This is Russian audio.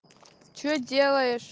что делаешь